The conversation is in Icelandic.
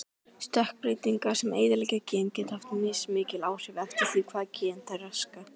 Stökkbreytingar sem eyðileggja gen geta haft mismikil áhrif eftir því hvaða geni þær raska.